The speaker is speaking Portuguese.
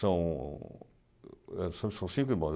São são cinco irmãos.